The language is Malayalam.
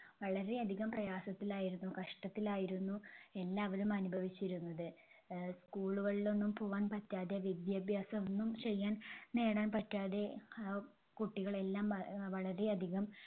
വളരെ അധികം പ്രയാസത്തിലായിരുന്നു കഷ്ടത്തിലായിരുന്നു എല്ലാവരും അനുഭവിച്ചിരുന്നത്. അഹ് School കളിലൊന്നും പോവാൻപറ്റാതെ വിദ്യാഭ്യാസമൊന്നും ചെയ്യാൻ നേടാൻ പറ്റാതെ അഹ് കുട്ടികളെല്ലാം വ~വളരെ അധികം